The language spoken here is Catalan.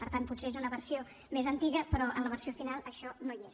per tant potser és una versió més antiga però en la versió final això no hi és